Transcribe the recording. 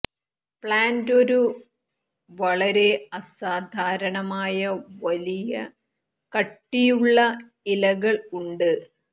plant ഒരു വളരെ അസാധാരണമായ വലിയ കട്ടിയുള്ള ഇലകൾ ഉണ്ട്